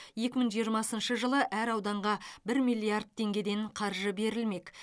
екі мың жиырмасыншы жылы әр ауданға бір миллиард теңгеден қаржы берілмек